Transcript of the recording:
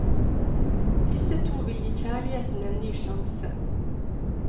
Disse to vil gi kjærligheten en ny sjanse.